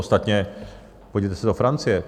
Ostatně podívejte se do Francie.